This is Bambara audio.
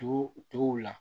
Tugu tuguw la